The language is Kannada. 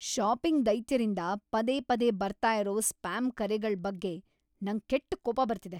ಷಾಪಿಂಗ್ ದೈತ್ಯರಿಂದ ಪದೇ ಪದೇ ಬರ್ತಾ ಇರೋ ಸ್ಪ್ಯಾಮ್ ಕರೆಗಳ್ ಬಗ್ಗೆ ನಂಗ್ ಕೆಟ್ಟ್ ಕೋಪ‌ ಬರ್ತಿದೆ.